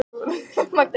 Barbara